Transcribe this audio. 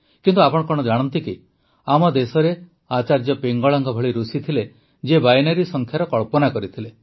କିନ୍ତୁ ଆପଣ କଣ ଜାଣନ୍ତି କି ଆମ ଦେଶରେ ଆଚାର୍ଯ୍ୟ ପିଙ୍ଗଳାଙ୍କ ଭଳି ଋଷି ଥିଲେ ଯିଏ ବାଇନାରୀ ସଂଖ୍ୟାର କଳ୍ପନା କରିଥିଲେ